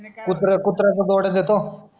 कुत्रा कुत्रा च्या जोड्या देतो